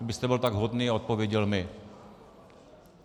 Kdybyste byl tak hodný a odpověděl mi.